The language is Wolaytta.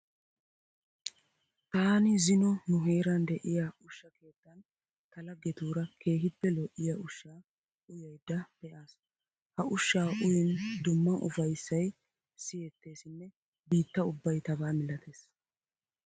Taani zino nu heeran de'iya ushsha keettan ta laggetuura keehippe lo'iya ushshaa utayidda pe'aas. Ha ushshaa uyiin dumma ufayissayi siyetteesinne biitta ubbay tabaa milatees.